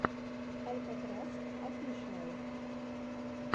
алькатрас офишиал